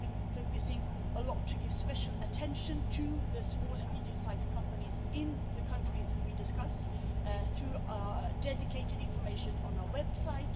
We have been focusing a lot to give special attention to the small and medium-sized companies in the countries we discuss through dedicated information on our website.